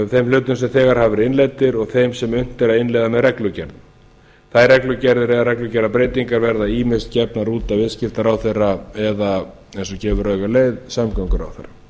þeim hlutum sem þegar hafa verið innleiddir og þeim sem unnt er að innleiða með reglugerð þær reglugerðir eða reglugerðarbreytingar verða ýmist gefnar út af viðskiptaráðherra eða eins og gefur auga leið samgönguráðherra